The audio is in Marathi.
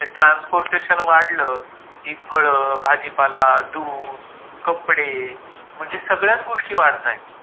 ते ट्रान्सपोर्टेशन वाढलं कि फळं, भाजीपाला, दूध, कपडे, म्हणजे सगळ्याच गोष्टी वाढतायेत.